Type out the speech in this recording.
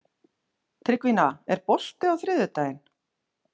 Tryggvína, er bolti á þriðjudaginn?